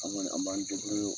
An kɔni an b'an o